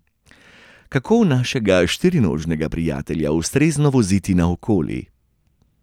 Kako našega štirinožnega prijatelja ustrezno voziti naokoli?